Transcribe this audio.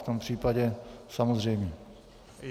V tom případě... samozřejmě.